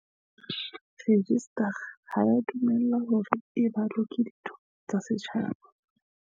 Rejistara ha ea dumellwa hore e balwe ke ditho tsa setjhaba.